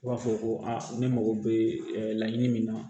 U b'a fɔ ko a ne mago bɛ laɲini min na